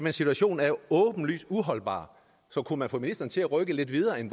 er situationen åbenlys uholdbar så kunne man få ministeren til at rykke lidt videre end